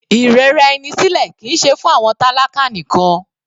Ìrẹra ẹni sílẹ̀ kìí ṣe fún àwọn tálákà nìkan.